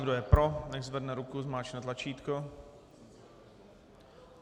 Kdo je pro, nechť zvedne ruku, zmáčkne tlačítko.